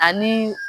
Ani